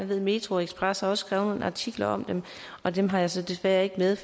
ved at metroxpress også har skrevet nogle artikler om det og dem har jeg så desværre ikke med